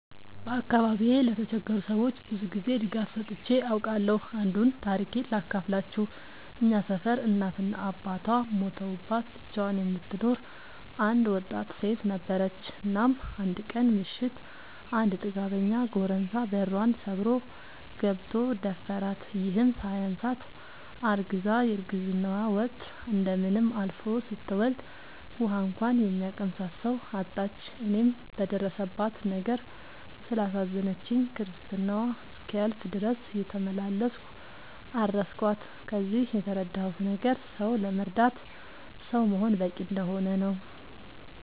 በአካባቢዬ ለተቸገሩ ሰዎች ብዙ ጊዜ ድጋፍ ሰጥቼ አውቃለሁ። አንዱን ታሪኬን ሳካፍላችሁ እኛ ሰፈር እናት እና አባቷ ሞተውባት ብቻዋን የምትኖር አንድ ወጣት ሴት ነበረች። እናም አንድ ቀን ምሽት አንድ ጥጋበኛ ጎረምሳ በሯን ሰብሮ ገብቶ ደፈራት። ይህም ሳያንሳት አርግዛ የረግዝናዋ ወቅት እንደምንም አልፎ ስትወልድ ውሀ እንኳን የሚያቀምሳት ሰው አጣች። እኔም በደረሰባት ነገር ስላሳዘነችኝ ክርስትናዋ እስኪያልፍ ድረስ እየተመላለስኩ አረስኳት። ከዚህ የተረዳሁት ነገር ሰው ለመርዳት ሰው መሆን በቂ እንደሆነ ነው።